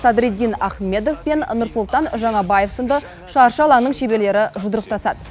садреддин ахмедов пен нұрсұлтан жаңабаев сынды шаршы алаңның шеберлері жұдырықтасады